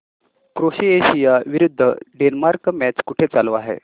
Croatia विरुद्ध Denmark match कुठे चालू आहे